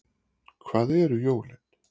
Hvað eru jólin